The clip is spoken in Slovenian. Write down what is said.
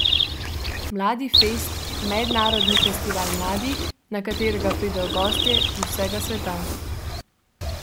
Mladifest, mednarodni festival mladih, na katerega pridejo gostje z vsega sveta.